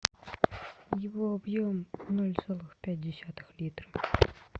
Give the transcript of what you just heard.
его объем ноль сорок пять десятых литра